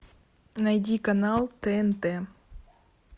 найди канал тнт